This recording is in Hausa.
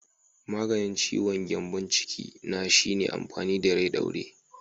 Maganin ciwon gyambon ciki na shine amfani da rai ɗaure.